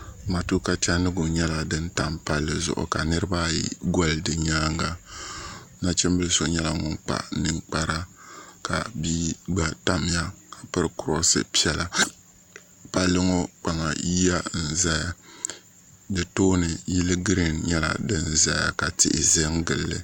Matuuka chandiɣu nyɛla din tam palli zuɣu ka niriba ayi gɔli di nyaanga nachimbili so nyɛla ŋun kpa ninkpara ka bia gba tamya m piri kuroosi piɛla palli ŋɔ kpaŋa yiya n zaya di tooni yili giriin nyɛla din zaya ka tihi zan gili li